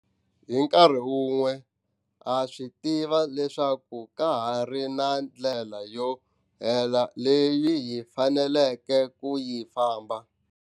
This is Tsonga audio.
Hi nkarhi wun'we, ha swi tiva leswaku kahari na ndlela yo leha leyi hi faneleke ku yi famba.